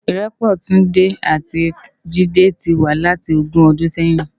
Irèpò Tunde ati Jide ti wá láti ógùn òdún sèyin